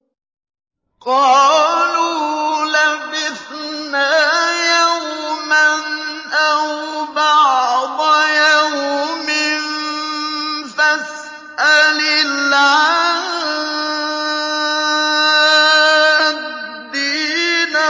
قَالُوا لَبِثْنَا يَوْمًا أَوْ بَعْضَ يَوْمٍ فَاسْأَلِ الْعَادِّينَ